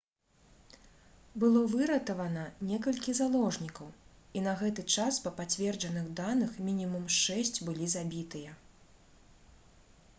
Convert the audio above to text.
было выратавана некалькі заложнікаў і на гэты час па пацверджаных даных мінімум шэсць былі забітыя